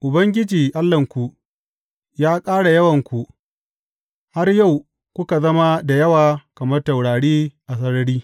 Ubangiji Allahnku ya ƙara yawanku har yau kuka zama da yawa kamar taurari a sarari.